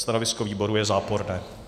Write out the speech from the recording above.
Stanovisko výboru je záporné.